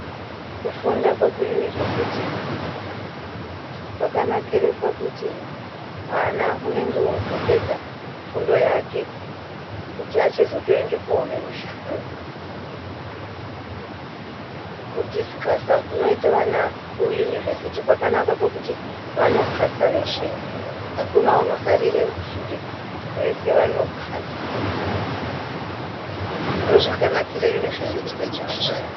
Kufunda kweku yunivheziti kwakanakire pakuti mwana unenge wootopedza fundo yake kuti achitozoende koone mushando kudhisikasa kunoite vana kuyunivheziti kwakanake pakuti vanopasa veshe akuna unosarire sure vese vanopasa, ndozvakanakire yunivheziti ejukasheni